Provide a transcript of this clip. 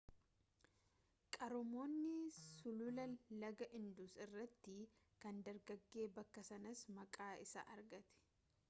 qaroominni sulula laga indus irratti kan dagaage bakka sanaas maqaa isaa argate